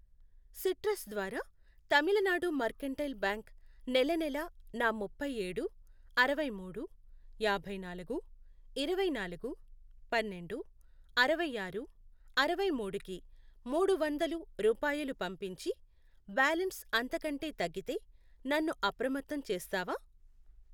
Citrus ద్వారా Tamil Nadu mercantile bank నెలనెలా నా ముప్పై ఏడు, అరవై మూడు, యాభై నాలుగు, ఇరవై నాలుగు, పన్నెండు, అరవై ఆరు, అరవై మూడు, కి మూడు వందలు రూపాయలు పంపించి, బ్యాలన్స్ అంతకంటే తగ్గితే నన్ను అప్రమత్తం చేస్తావా?